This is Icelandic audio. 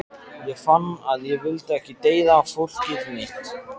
Ég fann að ég vildi ekki deyða fólkið mitt.